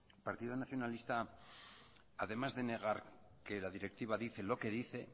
el partido nacionalista además de negar que la directiva dice lo que dice